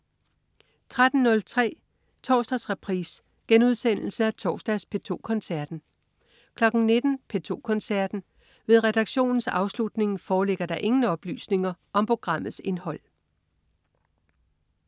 13.03 Torsdagsreprise. Genudsendelse af torsdags P2 Koncerten 19.00 P2 Koncerten. Ved redaktionens afslutning foreligger der ingen oplysninger om programmets indhold